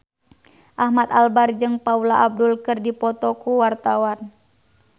Ahmad Albar jeung Paula Abdul keur dipoto ku wartawan